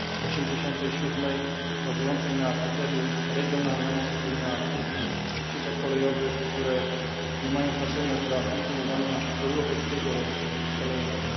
87. bazującej na kryterium regionalności i na krótkich sieciach kolejowych, które nie mają znaczenia dla funkcjonowania europejskiego rynku kolejowego.